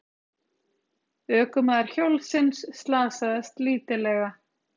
Ökumaður hjólsins slasaðist lítillega